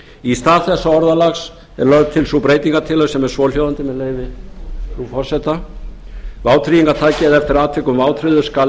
í stað þessa orðalags er lögð til sú breytingartillaga sem er svohljóðandi með leyfi frú forseta vátryggingartaki eða eftir atvikum vátryggður skal